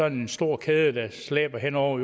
en stor kæde der slæber hen over